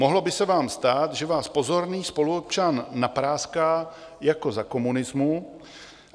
Mohlo by se vám stát, že vás pozorný spoluobčan napráská jako za komunismu.